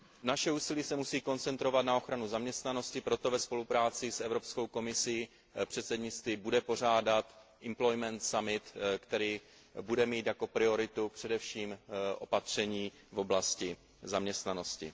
Naše úsilí se musí koncentrovat na ochranu zaměstnanosti, proto ve spolupráci s Evropskou komisí předsednictví bude pořádat summit o zaměstnanosti, který bude mít jako prioritu především opatření v oblasti zaměstnanosti.